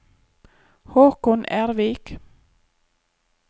Håkon Ervik